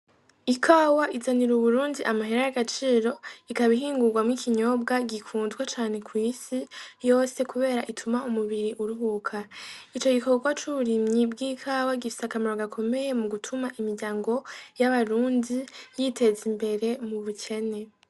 Ikawa izanira Uburundi amahera y'agaciro. Ikaba ihingurwamwo ikinyobwa gikunzwe cane kw'isi yose kubera gituma umubiri uruhuka. Ico gikorwa c'ubirimyi bw'ikawa gifise akamaro gakomeye mu gutuma imiryango y'abarundi yiteza imbere mu bukene.